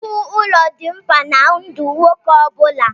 Iwu ụlọ dị mkpa na ndụ nwoke ọ bụla.